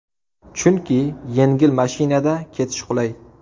Chunki yengil mashinada ketish qulay.